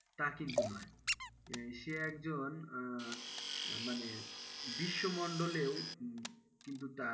তা কিন্তু নয়, সে একজন আহ মানে বিশ্বমণ্ডলেও কিন্তু তার,